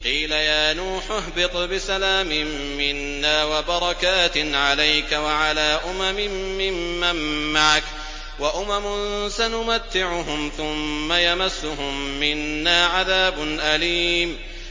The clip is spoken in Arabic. قِيلَ يَا نُوحُ اهْبِطْ بِسَلَامٍ مِّنَّا وَبَرَكَاتٍ عَلَيْكَ وَعَلَىٰ أُمَمٍ مِّمَّن مَّعَكَ ۚ وَأُمَمٌ سَنُمَتِّعُهُمْ ثُمَّ يَمَسُّهُم مِّنَّا عَذَابٌ أَلِيمٌ